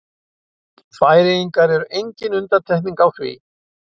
Færeyjar eru engin undantekning á því.